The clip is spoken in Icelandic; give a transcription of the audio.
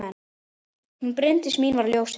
Hún Bryndís mín var ljósið.